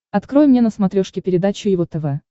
открой мне на смотрешке передачу его тв